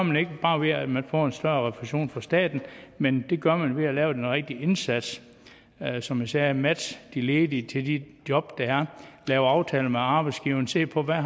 man ikke bare ved at man får en større refusion fra staten men det gør man ved at lave den rigtig indsats som jeg sagde matche de ledige til de job der er lave aftaler med arbejdsgiverne se på hvad